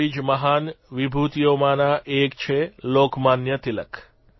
આવી જ મહાન વિભૂતિઓમાંના એક છે લોકમાન્ય તિલક